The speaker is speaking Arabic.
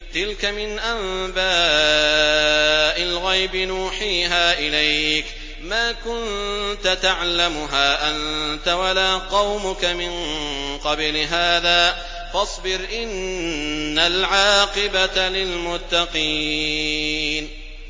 تِلْكَ مِنْ أَنبَاءِ الْغَيْبِ نُوحِيهَا إِلَيْكَ ۖ مَا كُنتَ تَعْلَمُهَا أَنتَ وَلَا قَوْمُكَ مِن قَبْلِ هَٰذَا ۖ فَاصْبِرْ ۖ إِنَّ الْعَاقِبَةَ لِلْمُتَّقِينَ